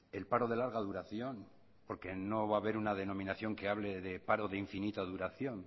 el paro de larga duración porque no va a haber una denominación que hable de paro de infinita duración